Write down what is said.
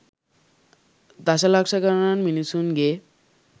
දශලක්ෂ ගණන් මිනිස්සුන්ගේ